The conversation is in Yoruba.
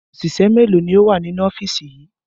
Òṣìṣẹ́ mélòó ni ó wà nínú ọ́fíìsì yìí?